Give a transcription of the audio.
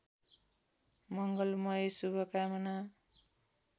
मंगलमय शुभकामना